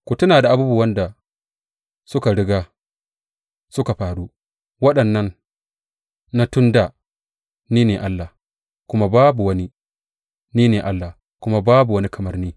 Ku tuna da abubuwan da suka riga suka faru, waɗannan na tun dā; ni ne Allah, kuma babu wani; ni ne Allah kuma babu wani kamar ni.